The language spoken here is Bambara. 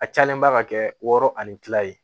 A cayalenba ka kɛ wɔɔrɔ ani tila ye